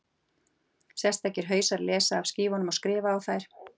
sérstakir hausar lesa af skífunum og skrifa á þær